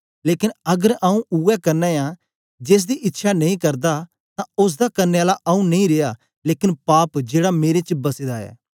लेकन अगर आंऊँ उवै करना ऐं जेसदी इच्छया नेई करदा तां ओसदा करने आला आंऊँ नेई रिया लेकन पाप जेड़ा मेरे च बसे दा ऐ